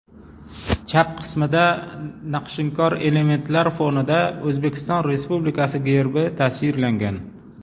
Chap qismida naqshinkor elementlar fonida O‘zbekiston Respublikasi Gerbi tasvirlangan.